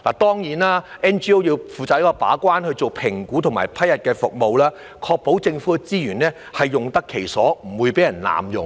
當然 ，NGO 要負責把關，進行評估和批核服務，確保政府資源用得其所，不會被人濫用。